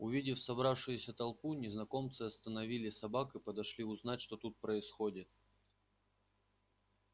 увидев собравшуюся толпу незнакомцы остановили собак и подошли узнать что тут происходит